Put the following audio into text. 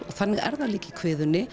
og þannig er það líka í